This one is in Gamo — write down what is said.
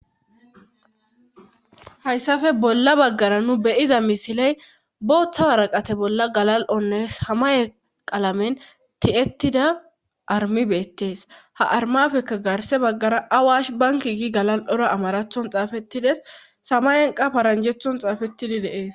Hayssafe bolla baggara nu beyiza misiley booththa waraqate bolla galal7onne samaye qalamen ti7ettida armibeettees ha armafekka garse baggara awash banki gi galal7ora amarathon xaafettides samayenqa paranjethon xaafettidi deees.